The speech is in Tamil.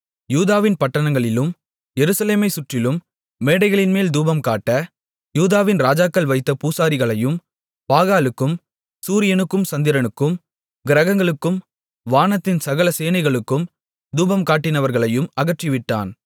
யூதாவின் பட்டணங்களிலும் எருசலேமைச் சுற்றிலும் மேடைகளின்மேல் தூபம்காட்ட யூதாவின் ராஜாக்கள் வைத்த பூசாரிகளையும் பாகாலுக்கும் சூரியனுக்கும் சந்திரனுக்கும் கிரகங்களுக்கும் வானத்தின் சகல சேனைகளுக்கும் தூபம்காட்டினவர்களையும் அகற்றிவிட்டான்